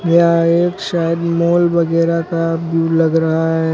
यह एक शायद मॉल वगैरा का व्यू लग रहा है।